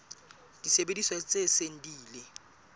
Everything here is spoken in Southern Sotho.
disebediswa tse seng di ile